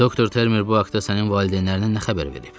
Doktor Termer bu haqta sənin valideynlərinə nə xəbər verib?